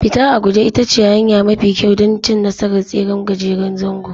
Fita a guje ita ce hanya mafi kyau don cin nasarar tseren gajeren zango